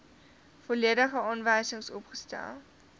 volledige aanwysings opgestel